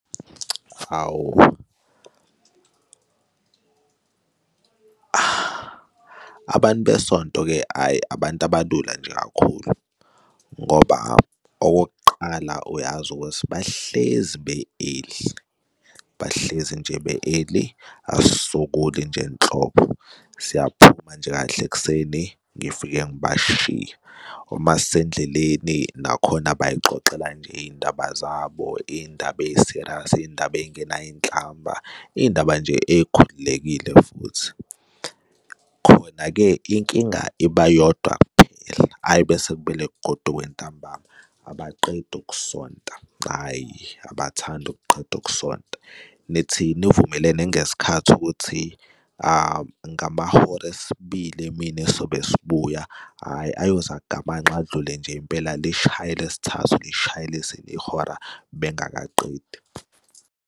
Hhawu, abantu besonto-ke hhayi, abantu abalula nje kakhulu ngoba okokuqala uyazi ukuthi bahlezi be-early, bahlezi nje be-early asisokoli nje nhlobo, siyaphuma nje kahle ekuseni, ngifike ngibashiye, uma sisendleleni nakhona bay'xoxela nje iy'ndaba zabo, iy'ndaba ey'-serious iy'ndaba ey'ngenayo inhlamba, iy'ndaba nje ey'khululekile futhi. Khona-ke inkinga iba yodwa kuphela, ayi mese kumele kugodukwe ntambama abaqeda ukusonta, hhayi, abathandi ukuqeda ukusonta. Nithi nivumelene ngesikhathi ukuthi ngamahora esibili emini sobe sibuya, hhayi ayoze agamanxe adlule nje impela, lishaye elesithathu lishaye elesine ihora bengakaqedi.